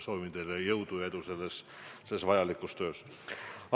Soovin teile jõudu ja edu selles vajalikus töös!